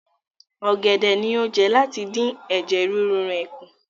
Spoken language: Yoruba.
Ọ̀gẹ̀dẹ̀ ni ó jẹ láti dín ẹ̀jẹ̀ ríru rẹ̀ kù.